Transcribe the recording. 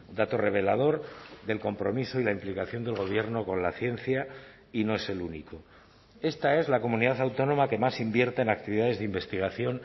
dato revelador del compromiso y la implicación del gobierno con la ciencia y no es el único esta es la comunidad autónoma que más invierte en actividades de investigación